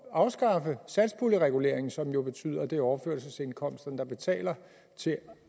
at afskaffe satspuljereguleringen som jo betyder at det er overførselsindkomster der betaler til